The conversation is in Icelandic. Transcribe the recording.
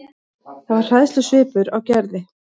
Það var hræðslusvipur á Gerði.